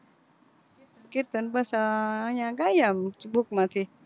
કીર્તન બસ આ અયા ગાયે આમ book માંથી